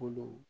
Kolo